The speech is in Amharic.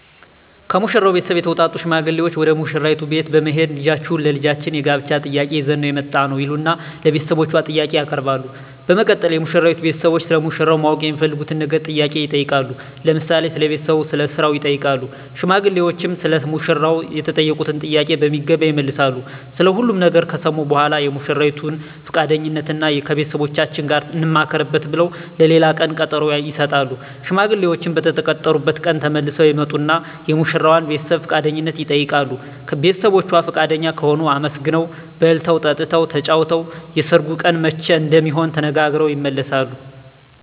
ከሙሽራው ቤተሰብ የተውጣጡ ሽማግሌዎች ወደ ሙሽራይቱ ቤት በመሄድ ልጃችሁን ለልጃችን የጋብቻ ጥያቄ ይዘን ነው የመጣነው ይሉና ለቤተሰቦቿ ጥያቄ ያቀርባሉ በመቀጠል የሙሽራይቱ ቤተሰቦች ስለ ሙሽራው ማወቅ የሚፈልጉትን ነገር ጥያቄ ይጠይቃሉ ለምሳሌ ስለ ቤተሰቡ ስለ ስራው ይጠይቃሉ ሽማግሌዎችም ሰለ ሙሽራው የተጠየቁትን ጥያቄ በሚገባ ይመልሳሉ ስለ ሁሉም ነገር ከሰሙ በኃላ የሙሽራይቱን ፍቃደኝነት እና ከቤተሰቦቻችን ጋር እንማከርበት ብለው ለሌላ ቀን ቀጠሮ ይሰጣሉ። ሽማግሌዎችም በተቀጠሩበት ቀን ተመልሰው ይመጡና የሙሽራዋን ቤተሰብ ፍቃደኝነት ይጠይቃሉ ቤተሰቦቿ ፍቃደኛ ከሆኑ አመስግነው በልተው ጠጥተው ተጫውተው የሰርጉ ቀን መቼ እንደሚሆን ተነጋግረው ይመለሳሉ።